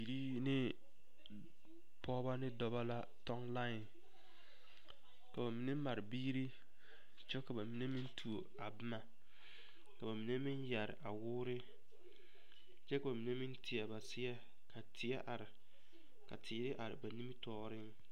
Bibilii ne pɔgeba ne dɔbɔ la a tɔŋ lae k'o mine mare biiri kyɛ ka ba mine meŋ tu boma ka ba mine meŋ yɛre a wɔɔre kyɛ ba mine teɛ ba seɛ ka teɛ are ka teere are ba nimitɔɔreŋ.